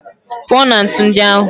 Pụọ na ntu ndị ahụ!